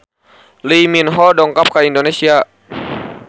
Lee Min Ho dongkap ka Indonesia